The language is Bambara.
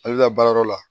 Ale bɛ taa baarayɔrɔ la